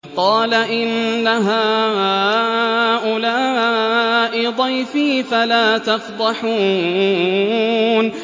قَالَ إِنَّ هَٰؤُلَاءِ ضَيْفِي فَلَا تَفْضَحُونِ